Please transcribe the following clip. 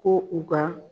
Ko u ka